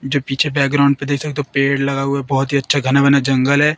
जो पीछे बैकग्राउंड पे देख सकते हो पेड़ लगा हुआ है बहुत ही अच्छा घना वना जंगल है।